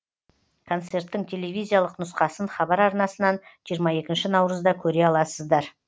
концерттің телевизиялық нұсқасын хабар арнасынан жиырма екінші наурызда көре аласыздар